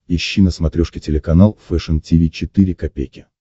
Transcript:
ищи на смотрешке телеканал фэшн ти ви четыре ка